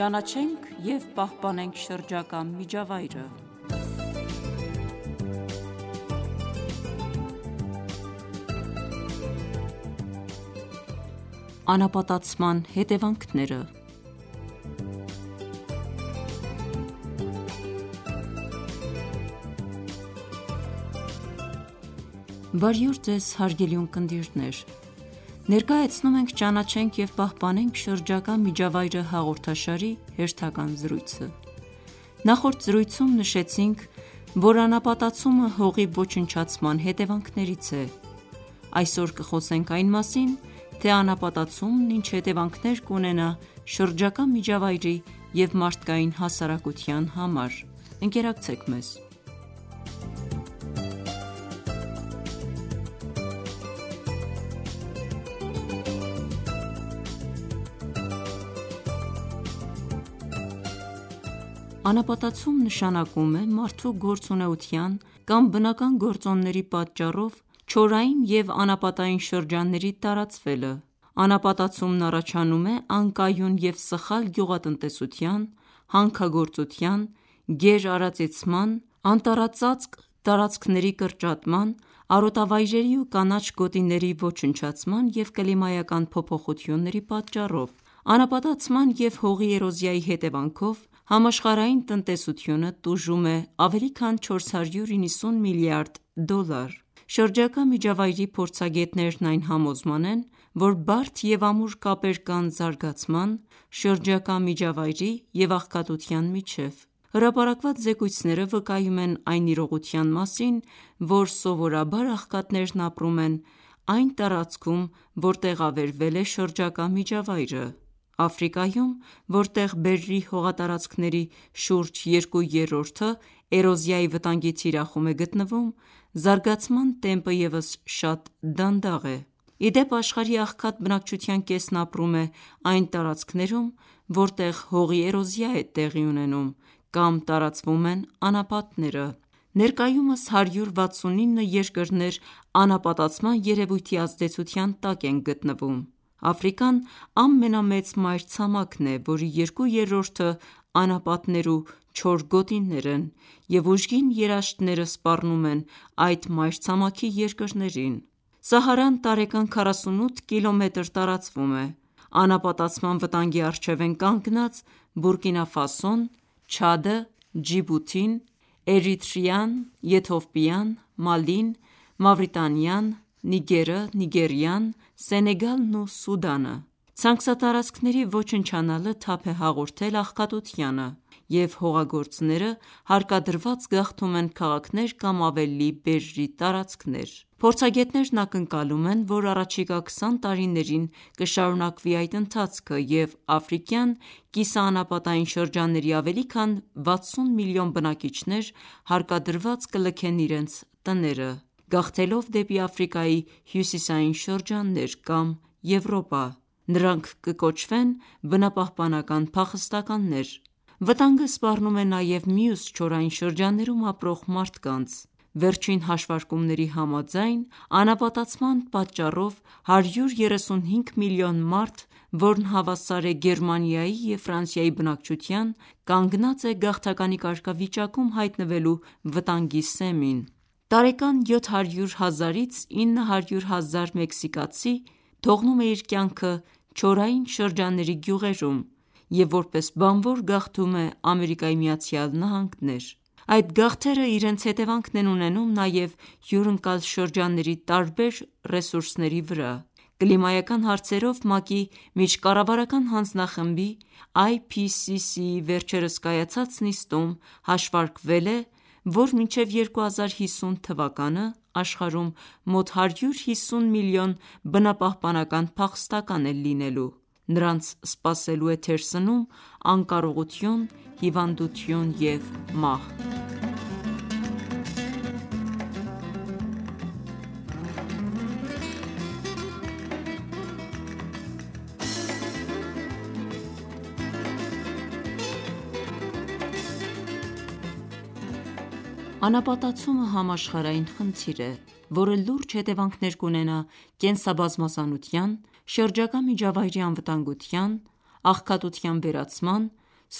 Ճանաչենք և պահպանենք շրջակա միջավայրը Անապատացման հետևանքները Բարի օր Ձեզ հարգելի ունկնդիրներ: Ներկայացնում ենք «Ճանաչենք և պահպանենք շրջակա միջավայրը» հաղորդաշարի հերթական զրույցը: Նախորդ զրույցում նշեցինք, որ անապատացումը հողի ոչնչացան հետևանքներից է: Այսօր կխոսենք այն մասին, թե անապատացումն ինչ հետևանքներ կունենա շրջակա միջավայրի և մարդկային հասարակության համար: Ընկերակցեք մեզ: Անապատացում նշանակում է մարդու գործունեության կամ բնական գործոնների պատճառով չորային և անապատային շրջանների տարածվելը: Անապատացումն առաջանում է անկայուն և սխալ գյուղատնտեսության, հանքագործության, գերարածեցման, անտառածածկ տարածքների կրճատման, արոտավայրերի ու կանաչ գոտիների ոչնչացման և կլիմայական փոփոխությունների պատճառով: Անապատացման և հողի էրոզիայի հետևանքով համաշխարհային տնտեսությունը տուժում է ավելի քան 490 միլիարդ դոլար: Շրջակա միջավայրի փորձագետներն այն համոզման են, որ բարդ և ամուր կապեր կան զարգացման, շրջակա միջավայրի և աղքատության միջև: Հրապարակված զեկույցները վկայում են այն իրողության մասին, որ սովորաբար աղքատներն ապրում են այն տարածքում, որտեղ ավերվել է շրջակա միջավայրը: Աֆրիկայում, որտեղ բերրի հողատարածքների շուրջ երկու երրորդը էրոզիայի վտանգի թիրախում է գտնվում, զարգացման տեմպը ևս շատ դանդաղ է: Ի դեպ, աշխարհի աղքատ բնակչության կեսն ապրում է այն տարածքներում, որտեղ հողի էրոզիա է տեղի ունենում կամ տարածվում են անապատները: Ներկայումս 169 երկրներ անապատացման երևույթի ազդեցության տակ են գտնվում: Աֆրիկան ամենամեծ մայրցամաքն է, որի երկու երրորդը անապատներ ու չոր գոտիների են և ուժգին երաշտները սպառնում են այդ մայրցամաքի երկրներին: Սահարան տարեկան 48 կիլոմետր տարածվում է: Անապատացման վտանգի առջև են կանգնած Բուրկինա Ֆասոն, Չադը, Ջիբութին, Էրիթրեան, Եթովպիան, Մալին, Մավրիտանիան, Նիգերը, Նիգերիան, Սենեգալն ու Սուդանը: Ցանքսատարածքների ոչնչանալը թափ է հաղորդել աղքատությանը և հողագործները հարկադրված գաղթում են քաղաքներ կամ ավելի բերրի տարածքներ: Փորձագետներն ակնկալում են, որ առաջիկա 20 տարիներին կշարունակվի այդ ընթացքը և Աֆրիկյան կիսաանապատային շրջանների ավելի քան 60 միլիոն բնակիչներ հարկադրված կլքեն իրենց տները, գաղթելով դեպի Աֆրիկայի հյուսիսային շրջաններ, կամ Եվրոպա: Նրանք կկոչվեն բնապահպանական փախստականներ: Վտանգը սպառնում է նաև մյուս չորային շրջաններում ապրող մարդկանց: Վերջին հաշվարկումների համաձայն, անապատացան պատճառով 135 միլիոն մարդ, որն հավասար է Գերմանիայի և Ֆրանսիայի բնակչության, կանգնած է գաղթականի կարգավիճակում հայտնվելու վտանգի սեմին: Տարեկան 700 հազարից 900 հազար մեքսիկացի թողնում է իր կյանքը չորային շրջանների գյուղերում և որպես բանվոր գաղթում է ԱՄՆ: Այդ գաղթերը իրենց հետևանքն են ունենում նաև հյուրընկալ շրջանների տարբեր ռեսուրսների վրա: Կլիմայական հարցերով ՄԱԿ-ի միջկառավարական հանձնախմբի IPCC-ի վերջերս կայացած նիստում հաշվարկվել է, որ մինչև 2050 թվականը աշխարհում մոտ 150 միլիոն բնապահպանական փախստական է լինելու: Նրանց սպասելու է թերսնում, անկարողություն, հիվանդություն և մահ: Անապատացումը համաշխարհային խնդիր է, որը լուրջ հետևանքներ կունենա կենսաբազմազանության, շրջակա միջավայրի անվտանգության, աղքատության վերացման,